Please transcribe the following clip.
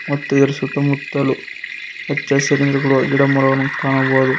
ಮತ್ತು ಇದರ ಸುತ್ತಮುತ್ತಲು ಹಚ್ಚಹಸಿರಿನಿಂದ ಕೂಡಿರುವ ಗಿಡಮರಗಳನ್ನು ಕಾಣಬಹುದು.